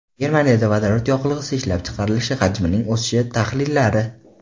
Germaniyada vodorod yoqilg‘isi ishlab chiqarilishi hajmining o‘sishi tahlillari.